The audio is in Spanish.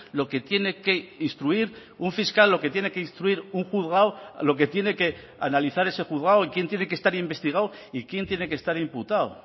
lo que tiene que instruir un fiscal lo que tiene que instruir un juzgado lo que tiene que analizar ese juzgado quien tiene que estar investigado y quién tiene que estar imputado